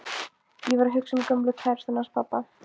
Ég var að hugsa um gömlu kærustuna hans pabba.